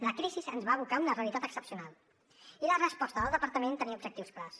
la crisi ens va abocar a una realitat excepcional i la resposta del departament tenia objectius clars